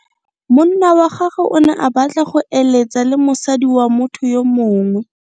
Monna wa gagwe o ne a batla go eletsa le mosadi wa motho yo mongwe.